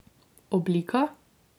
Oblika?